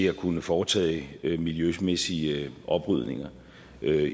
at kunne foretage miljømæssige oprydninger